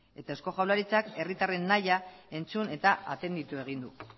eta eusko jaurlaritzak herritarren nahi entzun eta atenditu egin du